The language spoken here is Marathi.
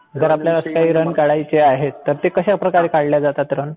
जर आपल्याला काही रन काढायचे आहेत तर ते कश्या प्रकारे काढल्या जातात रन?